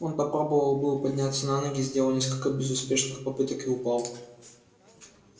он попробовал было подняться на ноги сделал несколько безуспешных попыток и упал